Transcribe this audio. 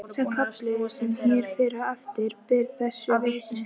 Sá kafli sem hér fer á eftir ber þessu vitni: